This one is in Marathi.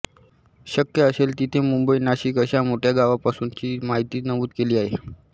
शक्य असेल तिथे मुंबई नाशिक अशा मोठ्या गावांपासुंची माहिती नमूद केली आहे